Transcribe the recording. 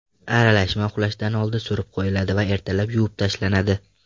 Aralashma uxlashdan oldin surib qo‘yiladi va ertalab yuvib tashlanadi.